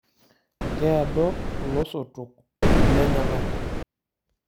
Keado ilosotok lenyenak.